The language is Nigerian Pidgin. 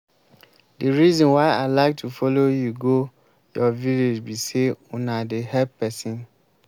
the reason why i like to follow you go your village be say una dey help person